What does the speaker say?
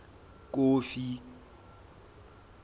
kofi